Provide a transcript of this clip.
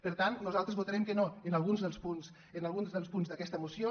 per tant nosaltres votarem que no en alguns dels punts d’aquesta moció